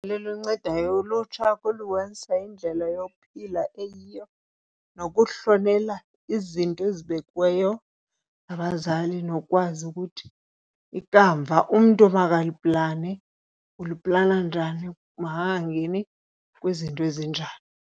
Liluncedayo ulutsha indlela yokuphila eyiyo nokuhlonela izinto ezibekiweyo ngabazali, nokwazi ukuthi ikamva umntu amakaliplane uliplana njani, makangangeni kwizinto ezinjani.